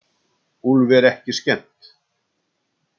Úlfi er ekki skemmt.